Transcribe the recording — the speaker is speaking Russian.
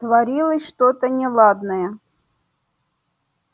творилось что-то неладное